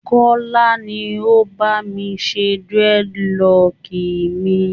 Kọ́lá ni ó bá mi ṣe dreadlock mi